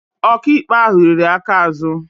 Ọkaikpe ahụ riri aka azụ